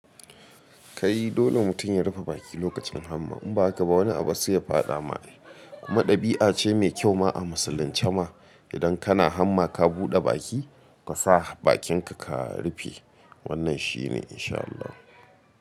Kai dole mutum ya rufe baki lokacin hamma in ba haka ba wani abu sai ya fada ma. Kuma ɗabi'a ce mai kyau ma a musulunci ma idan kana hamma ka buɗe baki ka sa bakinka ka rufe. Wannan shi ne insha Allah.